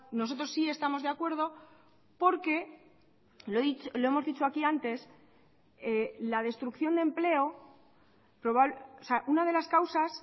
nosotros sí estamos de acuerdo porque lo hemos dicho aquí antes la destrucción de empleo o sea una de las causas